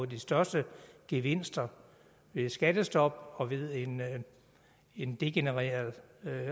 de største gevinster ved skattestop og ved en degenereret